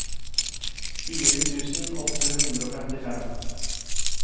fire tusen åtte hundre og femtifem